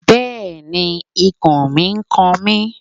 Bẹ́ẹ̀ni, ikùn mi n kan mi